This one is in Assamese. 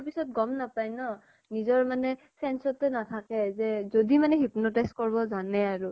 পিছত গʼম নাপাই ন ? নিজৰ মানে sense তে নাথাকে যে । যদি মানে hypnotize কৰব জানে আৰু ।